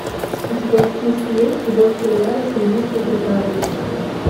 у тебя в списке есть любовь кулинара с индийской приправой